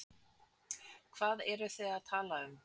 Hvað eruð þið þið að tala um?